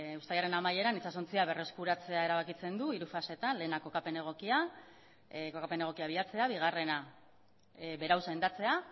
uztailaren amaieran itsasontzia berreskuratzea erabakitzen du hiru fasetan lehena kokapen egokia bilatzea bigarrena berau sendatzea